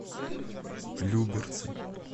люберцы